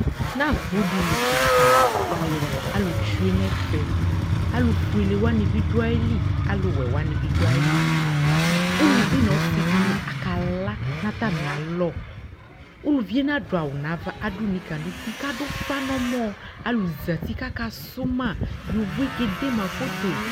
Nʋ agbo dι li kιka, alʋ tsyue nʋ ɛfɛ, alʋ fuele wani bι dʋ ayili, alʋ wɛ wanι bι dʋ ayili Uluvi nʋ ɔsι dιnι ɔkaa la nʋ atamι alɔUluvi yɛ nadʋ awʋ nʋ ava, adʋ nika nʋ uti kʋ adʋ ʋfa nʋ ɔmɔɔAlʋ zati kʋ aka sʋ maYovo yɛ kee de ma foto